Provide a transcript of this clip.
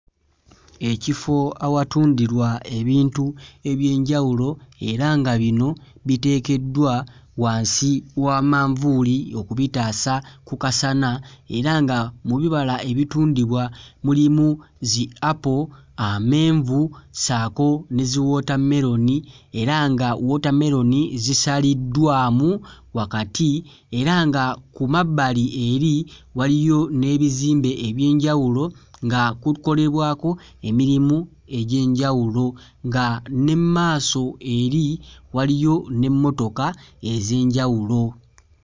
Ekifo awatundirwa ebintu eby'enjawulo era nga bino biteekeddwa wansi wa manvuuli okubitaasa ku kasana era nga mu bibala ebitundibwa mulimu zi apo, amenvu ssaako ne ziwootammeroni era nga wootammeroni zisaliddwamu wakati era nga ku mabbali eri waliyo n'ebizimbe eby'enjawulo nga kukolebwako emirimu egy'enjawulo nga ne mmaaso eri waliyo n'emmotoka ez'enjawulo.